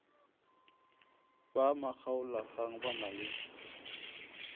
ba makgaolakgang ba na le